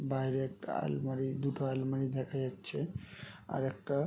বাইরে একটা আলমারি দুটো আলমারি দেখা যাচ্ছে। আর একটা --